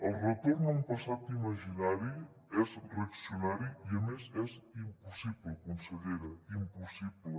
el retorn a un passat imaginari és reaccionari i a més és impossible consellera impossible